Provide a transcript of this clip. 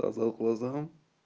глаза к глазам